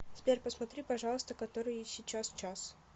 сбер посмотри пожалуйста который сейчас час